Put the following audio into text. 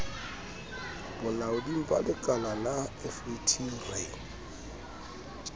bolaoding ba lekalala fet re